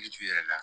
Yiri turu yɛrɛ la